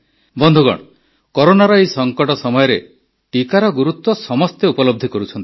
ବନ୍ଧୁଗଣ କରୋନାର ଏହି ସଙ୍କଟ ସମୟରେ ଟିକାର ଗୁରୁତ୍ୱ ସମସ୍ତେ ଉପଲବ୍ଧି କରୁଛନ୍ତି